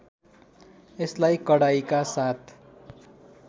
यसलाई कडाइका साथ